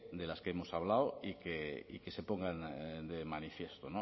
de las que hemos hablado y que se pongan de manifiesto